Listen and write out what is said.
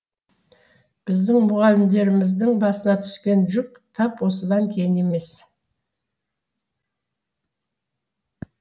біздің мұғалімдеріміздің басына түскен жүк тап осыдан кейін емес